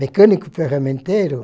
Mecânico ferramenteiro?